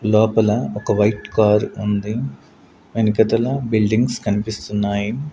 లోపల ఒక white car ఉంది వెనకతల బిల్డింగ్స్ కనిపిస్తున్నాయి.